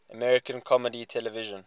american comedy television